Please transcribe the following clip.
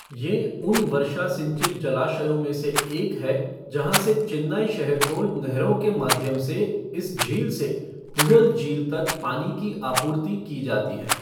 ये उन वर्षा सिंचित जलाशयों में से एक है जहाँ से चेन्नई शहर को नहरों के माध्यम से इस झील से पुझल झील तक पानी की आपूर्ति की जाती है।